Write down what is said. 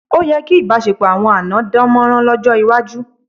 Ó yẹ kí ìbáṣepọ̀ àwọn àná dámọ̀ràn lọ́jọ́ iwájú.